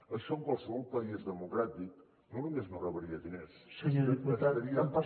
això en qualsevol país democràtic no només no rebria diners estaria